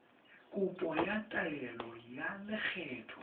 kopo ya taelo ya lekgetho